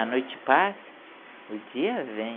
A noite passa, o dia vem.